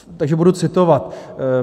Takže budu citovat.